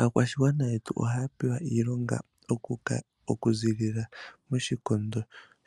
Aakwashigwana yetu ohaya pewa iilonga yoku ka okuziilila moshikondo